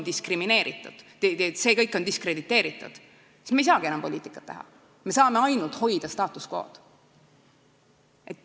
Kui see kõik on diskrediteeritud, siis me ei saagi enam poliitikat teha, me saame ainult status quo'd hoida.